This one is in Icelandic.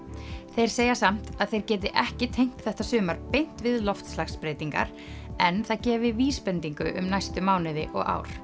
þeir segja samt að þeir geti ekki tengt þetta sumar beint við loftslagsbreytingar en það gefi vísbendingu um næstu mánuði og ár